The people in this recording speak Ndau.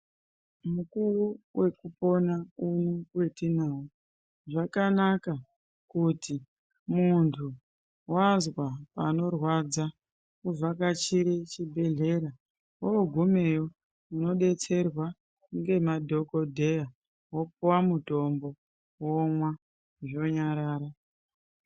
Mukuwo wekupona uno wetinawo zvakanaka kuti muntu wazwa panorwadza uvhakachire chibhedhlera wogumeyo unodetserwa ngemadhokodheya wopuwa mutombo womwa zvonyarara.